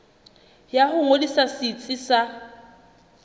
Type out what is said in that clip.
ya ho ngodisa setsi sa